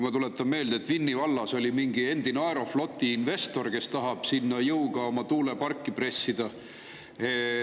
Ma tuletan meelde, et Vinni vallas oli mingi endine Aerofloti investor, kes tahab sinna jõuga oma tuuleparki pressida.